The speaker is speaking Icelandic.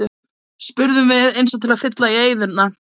spurðum við eins og til að fylla í eyðuna.